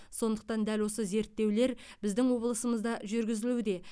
сондықтан дәл осы зерттеулер біздің облысымызда жүргізілуде